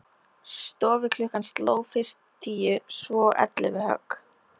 Stofuklukkan sló fyrst tíu og svo ellefu högg.